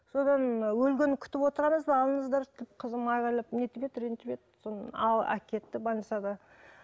содан өлгенін күтіп отырамыз ба алыңыздаршы деп қызым айғайлап не етіп еді ренжіп еді содан әкетті больницада